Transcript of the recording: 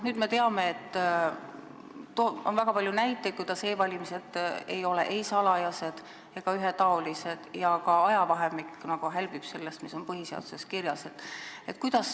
Me teame, et on väga palju näiteid selle kohta, et e-valimised ei ole olnud ei salajased ega ühetaolised ja ka nende toimumise ajavahemik hälbib sellest, mis on põhiseaduses kirjas.